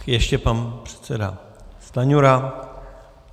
Ještě pan předseda Stanjura.